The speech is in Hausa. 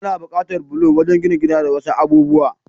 Ana bukatar bulo wajan jina gida da wasu abubuwa.